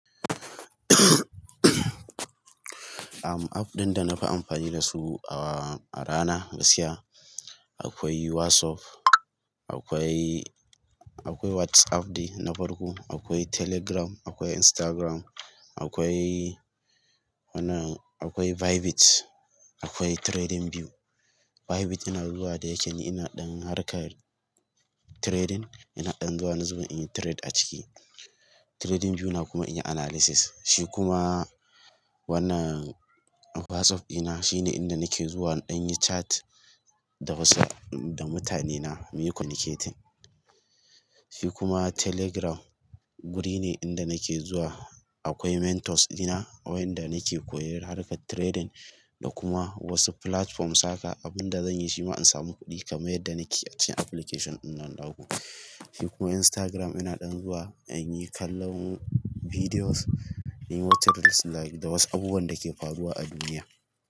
Am, app ɗin da na fi amfani da su a rana, gaskiya akwai WhatsApp, akwai, akwai WhatsApp ɗin na farko, akwai Telegram, akwai Instagram, akwai wannan akwai Bybit, akwai TradingView. Bybit ina zuwa da yake ina ɗan harkar trading, ina ɗan zuwa wani zubin in yi trade a ciki. TradingView na kuma in yi analysis. Shi kuma wannan WhatsApp ina shine inda nake zuwa in yi chat da wasu, da mutane na, muyi communicating. Shi kuma Telegram wuri ne inda nake zuwa, akwai mentors ina, wayanda nake koyar harkar trading da kuma wasu platform saka abin da zanyi shi ma in samu kuɗi kamar yadda nake a cikin application wannan naku. Shi kuma Instagram ina ɗan zuwa in yi kallon videos, in yi what's this like da wasu abubuwan da ke faruwa a duniya.